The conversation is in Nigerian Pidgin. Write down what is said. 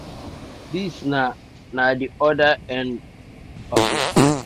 dis na na di oda end of di um stick.